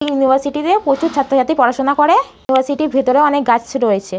এই ইউনিভারসিটি তে প্রচুর ছাত্র-ছাত্রী পড়াশোনা করে। ইউনিভার্সিটি -এর ভেতরে অনেক গাছ রয়েছে।